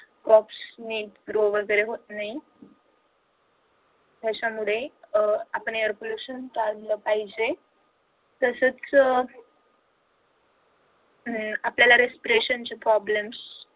ने रोग वगैरे होत नाही त्याच्यामुळे अह आपण air pollution टाळलं पाहिजे तसच अह आपल्याला respiration चे problems